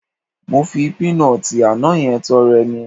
Mo fi píínọọ̀tì àná yẹn tọrẹ ni